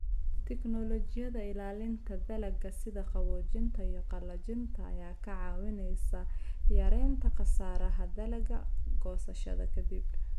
Tignoolajiyada ilaalinta dalagga sida qaboojinta iyo qalajinta ayaa kaa caawinaysa yaraynta khasaaraha dalagga goosashada ka dib.